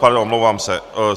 Pardon, omlouvám se.